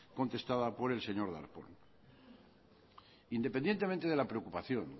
contestada por el señor darpón independientemente de la preocupación